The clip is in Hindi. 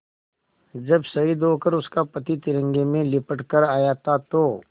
जब शहीद होकर उसका पति तिरंगे में लिपट कर आया था तो